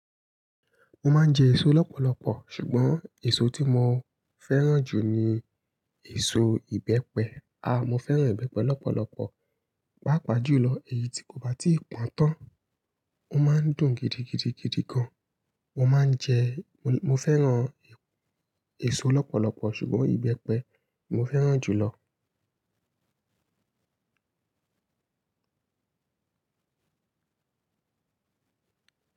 Mo máa ń jẹ èso lọ́pọ̀lọpọ̀, ṣùgbọ́n èso tí mo fẹ́ràn jù ni èso ìbẹ́pẹ. Mo fẹ́ràn ìbẹ́pẹ lọ́pọ̀lọpọ̀, pàápàá jù lọ èyí tí kò bá ti pọ́n tán. Ó máa ń dùn gidigidigidi gan. Mo máa ń jẹ, mo fẹ́ràn èso lọ́pọ̀lọpọ̀ ṣùgbọ́n ìbẹ́pẹ mo fẹ́ràn jù lọ.